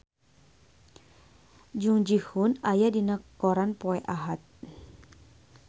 Jung Ji Hoon aya dina koran poe Ahad